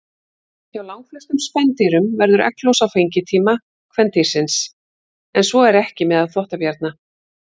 Hjá langflestum spendýrum verður egglos á fengitíma kvendýrsins, en svo er ekki meðal þvottabjarna.